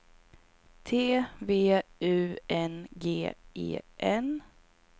T V U N G E N